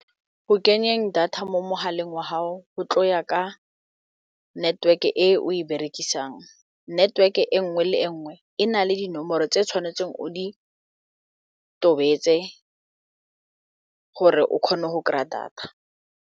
Go kenyeng data mo mogaleng wa gao o tlo ya ka network e o e berekisang network e nngwe le e nngwe e na le dinomoro tse tshwanetseng o di tobetsa gore o kgone go kry-a data.